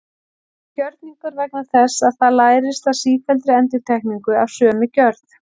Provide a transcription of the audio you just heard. Það er gjörningur vegna þess að það lærist af sífelldri endurtekningu af sömu gjörð.